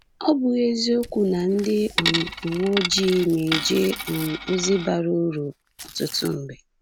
Ọ̀ bụghị eziokwu na ndị um uwe ojii na-eje um ozi bara uru ọtụtụ mgbe?